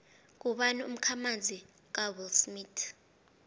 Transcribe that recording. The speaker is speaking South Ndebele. ngubani umkhamanzi kawillsmith